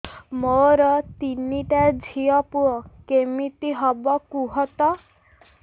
ମୋର ତିନିଟା ଝିଅ ପୁଅ କେମିତି ହବ କୁହତ